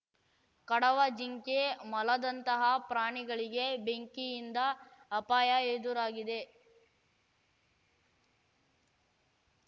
ಕಡವ ಜಿಂಕೆ ಮೊಲದಂತಹ ಪ್ರಾಣಿಗಳಿಗೆ ಬೆಂಕಿಯಿಂದ ಅಪಾಯ ಎದುರಾಗಿದೆ